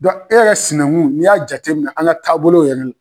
e yɛrɛ sinankun n'i y'a jate minɛ an ka taabolow yɛrɛ la.